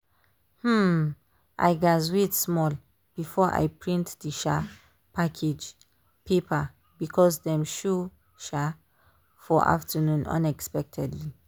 um i gatz wait small before i print the um package paper because dem show um for afternoon unexpectedly